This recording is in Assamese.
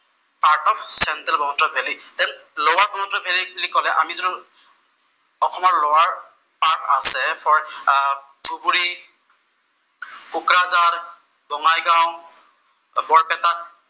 চেন্ট্ৰেৰ Brahmaputra valley. Then lower Brahmaputra valley বুলি কʼলে আমি যিটো অসমৰ লʼৱাৰ পাৰ্ট আছে, ধুবুৰী, কোকৰাঝাৰ, বঙাইগাঁও, বৰপেটা